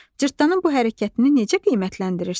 Cırtdanın bu hərəkətini necə qiymətləndirirsən?